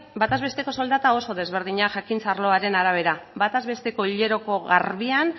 batez besteko soldata oso ezberdinak jakintza arloaren arabera batez besteko hileroko garbian